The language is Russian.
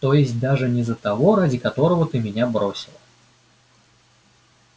то есть даже не за того ради которого ты меня бросила